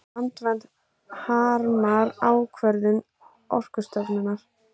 Landvernd harmar ákvörðun Orkustofnunar